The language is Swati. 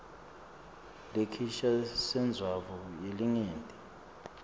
lesisha sentsandvo yelinyenti